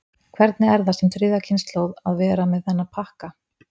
Hvernig er það sem þriðja kynslóð að vera með þennan pakka?